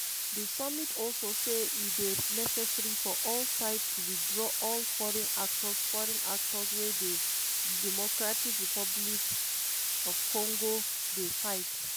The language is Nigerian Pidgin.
di summit also say e dey necessary for all sides to withdraw all foreign actors foreign actors wey dey drc dey fight.